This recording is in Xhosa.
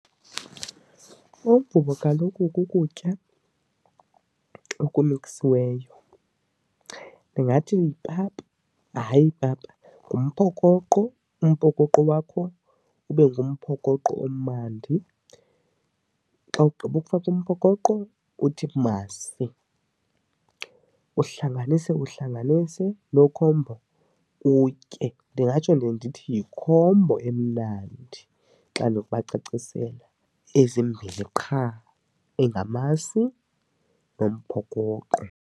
Umvubo kaloku kukutya okulungisiweyo. Ndingathi yipapa, hayi ipapa, ngumphokoqo. Umphokoqo wakho ube ngumphokoqo omnandi. Xa ugqibofaka umphokoqo, uthi masi uhlanganise uhlanganise loo khombo utye. Ndingatsho ke ndithi yikhombo emnandi xa ndinokubacacisela, ezimbini qha engamasi nomphokoqo.